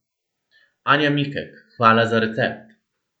Anja Mikek, hvala za recept!